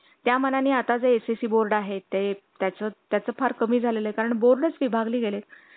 daily working हो ना आमचं पण ऑफिस चालू झालं आता वर्क फ्रॉम होम संपलं